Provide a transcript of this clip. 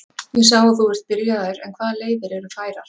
Ég sá að þú ert byrjaður en hvaða leiðir eru færar?